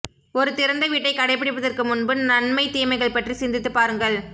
ஒரு திறந்த வீட்டைக் கடைப்பிடிப்பதற்கு முன்பு நன்மை தீமைகள் பற்றி சிந்தித்துப் பாருங்கள்